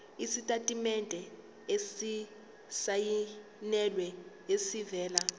isitatimende esisayinelwe esivela